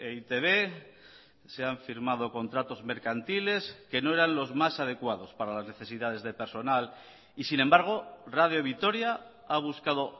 e i te be se han firmado contratos mercantiles que no eran los más adecuados para las necesidades de personal y sin embargo radio vitoria ha buscado